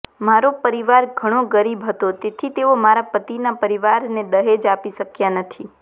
મારો પરિવાર ઘણો ગરીબ હતો તેથી તેઓ મારા પતિના પરિવારને દહેજ આપી શક્યા નથી